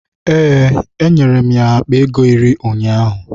Ee, enwere m ya akpa ego iri ụnyaahụ.